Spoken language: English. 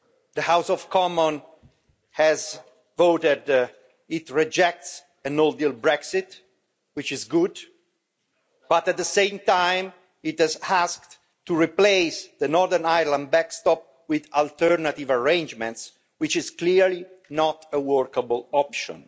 The House of Commons has voted, it rejects a no deal Brexit, which is good, but at the same time it has asked to replace the Northern Ireland backstop with alternative arrangements, which is clearly not a workable option.